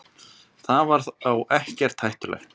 Þetta var þá ekkert hættulegt.